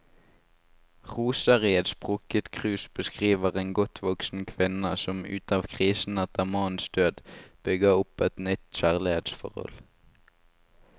Roser i et sprukket krus beskriver en godt voksen kvinne som ut av krisen etter mannens død, bygger opp et nytt kjærlighetsforhold.